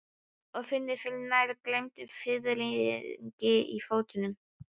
Og finnur fyrir nær gleymdum fiðringi í fótum.